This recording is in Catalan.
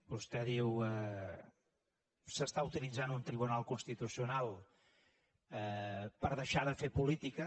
vostè diu s’està utilitzant un tribunal constitucional per deixar de fer política